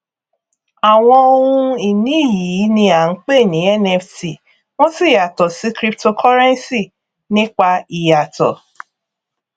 àwọn ohun ìní yìí ni a ń pè ní nft wọn sì yàtọ sí cryptocurrency nípa ìyàtọ